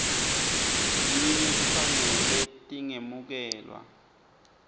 linye kufanele tingemukelwa